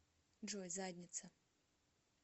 джой задница